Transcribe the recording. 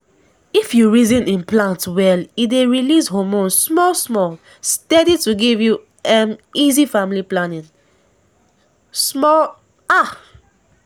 if you reason implant well e dey release hormone small-small steady to give you um easy family planning. pause small ah!